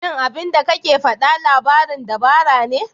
Shin abinda kake faɗa labarin dabara ne?